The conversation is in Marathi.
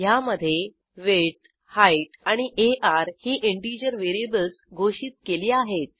ह्यामधे विड्थ हाइट आणि आर ही इंटिजर व्हेरिएबल्स घोषित केली आहेत